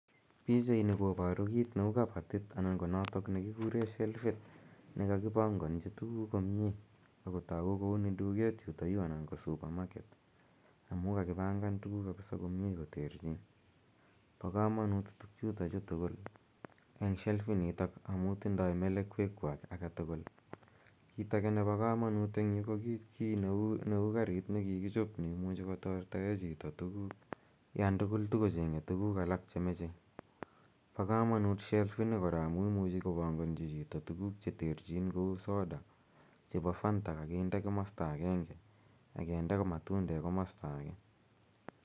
Pichaini koparu kit neu kapatit anan ko notok ne kikure shelfit ne kakipanganchi tuguk komye. Ako tagu kole uni duket yutayu anan ko (supermarket amu kakipangan tuguk kapisa komye koterchin. Pa kamanut tugchutachu tugul eng' shelfinitok amu tindai melekwekwak age tugul. Kit age ne pa kamanut ebg' yu ko kit neu karit ne kikichop ne imuchi kotortae chito tuguk yan tugul tukocheng'e tuguk alak che mache. Pa kamanut sheldini kora amu imuchi kopanganchi chito tuguk che terchin kou soda, chepo fanta kakinde komasta agenge ak kinde matundek komasta age.